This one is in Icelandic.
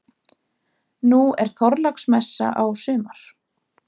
Nú er Þorláksmessa á sumar.